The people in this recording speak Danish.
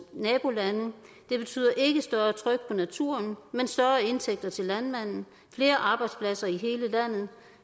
nabolande det betyder ikke større tryk på naturen men større indtægter til landmanden flere arbejdspladser i hele landet